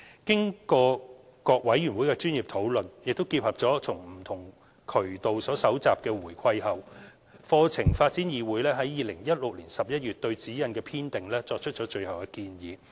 經過各委員會的專業討論，並結合從不同渠道所蒐集的回饋後，課程發展議會於2016年11月對《指引》的編訂作出最後建議。